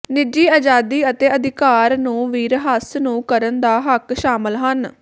ਨਿੱਜੀ ਆਜ਼ਾਦੀ ਅਤੇ ਅਧਿਕਾਰ ਨੂੰ ਵੀ ਰਹੱਸ ਨੂੰ ਕਰਨ ਦਾ ਹੱਕ ਸ਼ਾਮਲ ਹਨ